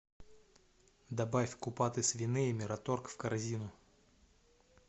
добавь купаты свиные мираторг в корзину